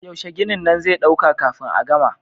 Yaushe ginin nan zai ɗauka kafin a gama?